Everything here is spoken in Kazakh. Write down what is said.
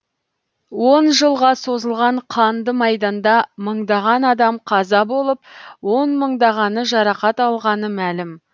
он жылға созылған қанды майданда мыңдаған адам қаза болып он мыңдағаны жарақат алғаны мәлім